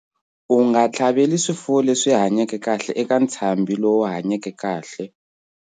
U nga tlhaveli swifuwo leswi hanyeke kahle eka ntshambi lowu hanyeke kahle.